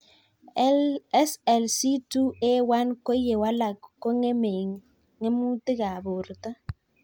SLC2A1 ko ye walak kongemei ng'mutik ab porto